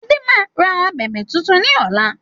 Adé máa ra abẹ̀bẹ̀ tuntun ni ọ̀la